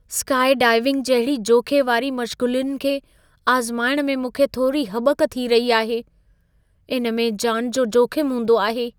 Skydiving जहिड़ी जोख़े वारी मश्ग़ूलियुनि खे आज़माइण में मूंखे थोरी हॿक थी रही आहे। इन में जानि जो जोखिमु हूंदो आहे।